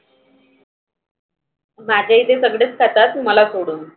माझ्या इथे सगळेच खातात मला सोडून.